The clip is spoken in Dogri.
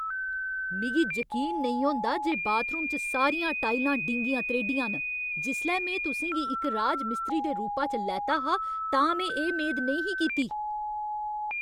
मिगी जकीन नेईं होंदा जे बाथरूम च सारियां टाइलां डींगियां त्रेह्ड़ियां न! जिसलै में तुसें गी इक राजमिस्त्री दे रूपा च लैता हा तां में एह् मेद नेईं ही कीती।